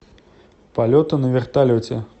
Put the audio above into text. полеты на вертолете